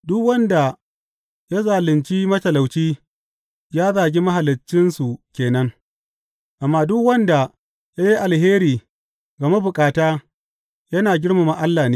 Duk wanda ya zalunci matalauci ya zagi Mahaliccinsu ke nan, amma duk wanda ya yi alheri ga mabukata yana girmama Allah ne.